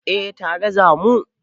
Eh tare za mu.